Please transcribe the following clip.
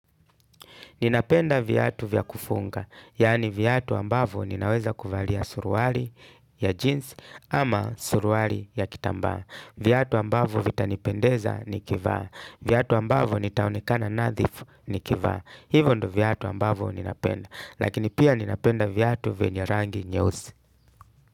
Ninapenda viyatu vya kufunga, yaani vyatu ambavyo ninaweza kuvalia suruali ya jeans ama suruali ya kitambaa. Vyatu ambavyo vitanipendeza nikivaa. Vyatu ambavo nitaonekana nadhifu nikivaa. Hivyo ndo vyatu ambavo ninapenda. Lakini pia ninapenda vyatu venya rangi nyeusi.